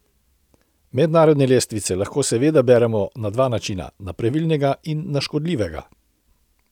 Mednarodne lestvice lahko seveda beremo na dva načina, na pravilnega in na škodljivega.